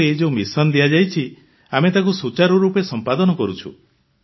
ଆମକୁ ଏହି ଯେଉଁ ମିଶନ ଦିଆଯାଇଛି ଆମେ ତାକୁ ସୁଚାରୁରୂପେ ଏହାକୁ ସମ୍ପାଦନ କରୁଛୁ